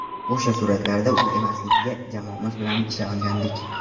O‘sha suratlarda u emasligiga jamoamiz bilan ishongandik.